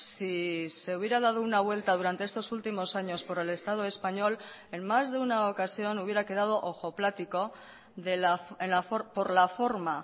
si se hubiera dado una vuelta durante estos últimos años por el estado español en más de una ocasión hubiera quedado ojoplático por la forma